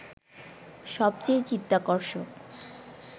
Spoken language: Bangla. সবচেয়ে চিত্তাকর্ষক